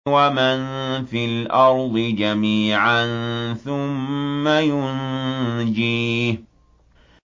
وَمَن فِي الْأَرْضِ جَمِيعًا ثُمَّ يُنجِيهِ